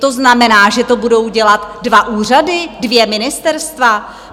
To znamená, že to budou dělat dva úřady, dvě ministerstva?